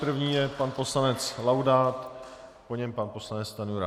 První je pan poslanec Laudát, po něm pan poslanec Stanjura.